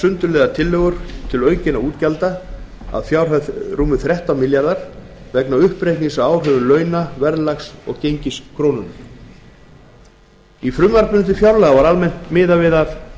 sundurliðaðar tillögur til aukinna útgjalda að fjárhæð þrettán komma einn milljarður króna vegna uppreiknings á áhrifum launa verðlags og gengis krónunnar í frumvarpi til fjárlaga var almennt miðað við